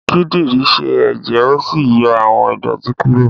Kídìrí sẹ́ èjẹ̀ ó sì yọ àwọn ìdọ̀tí kúrò.